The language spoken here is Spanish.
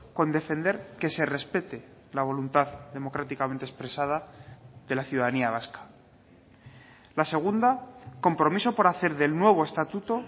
con defender que se respete la voluntad democráticamente expresada de la ciudadanía vasca la segunda compromiso por hacer del nuevo estatuto